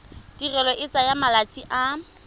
tirelo e tsaya malatsi a